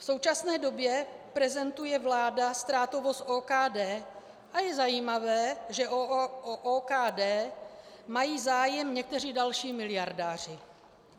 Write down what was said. V současné době prezentuje vláda ztrátovost OKD a je zajímavé, že o OKD mají zájem někteří další miliardáři.